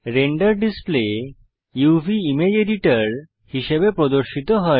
render display uvইমেজ editor হিসাবে প্রদর্শিত হয়